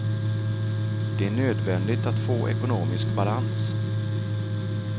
Det är nödvändigt att få ekonomisk balans.